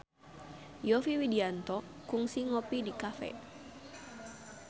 Yovie Widianto kungsi ngopi di cafe